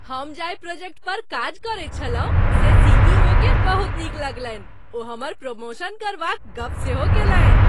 हम जाहि प्रोजेक्ट पर काज करैत छलहुँ से सीईओकेँ बहुत नीक लगलनि, ओ हमर प्रमोशन करबाक गप सेहो कयलनि।